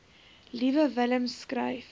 liewe willem skryf